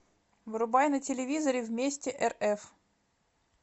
врубай на телевизоре вместе рф